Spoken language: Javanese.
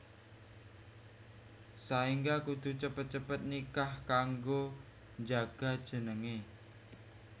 Saéngga kudu cepet cepet nikah kanggo njaga jenengé